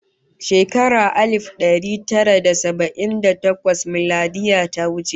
Shekarar alif da dari tara da saba'in da takwas miladiyya ta wuce